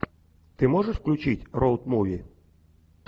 ты можешь включить роуд муви